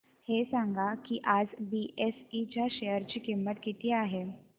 हे सांगा की आज बीएसई च्या शेअर ची किंमत किती आहे